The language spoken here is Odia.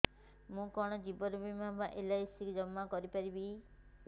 ମୁ କଣ ଜୀବନ ବୀମା ବା ଏଲ୍.ଆଇ.ସି ଜମା କରି ପାରିବି